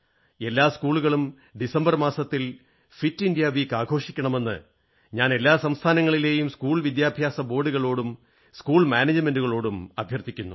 എല്ലാ സ്കൂളുകളും ഡിസംബർ മാസത്തിൽ ഫിറ്റിന്ത്യാ വാരം ആഘോഷിക്കണമെന്ന് ഞാൻ എല്ലാ സംസ്ഥാനങ്ങളിലെയും സ്കൂൾ വിദ്യാഭ്യാസ ബോർഡുകളോടും സ്കൂൾ മാനേജ്മെന്റുകളോടും അഭ്യർഥിക്കുന്നു